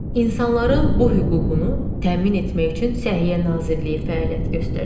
İnsanların bu hüququnu təmin etmək üçün Səhiyyə Nazirliyi fəaliyyət göstərir.